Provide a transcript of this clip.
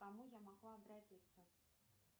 к кому я могу обратиться